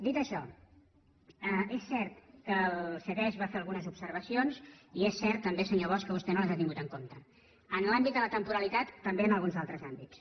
dit això és cert que el ctesc va fer algunes obser·vacions i és cert també senyor bosch que vostè no les ha tingut en compte en l’àmbit de la temporalitat també en alguns altres àmbits